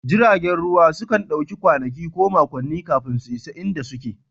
Jiragen ruwa sukan ɗauki kwanaki ko makonni kafin su isa inda suke